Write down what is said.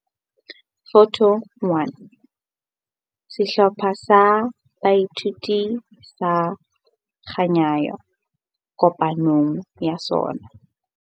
Photo 1- Sehlopha sa Boithuto sa Khanyayo kopanong ya sona.